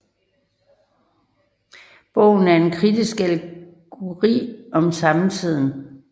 Bogen er en kritisk allegori om samtiden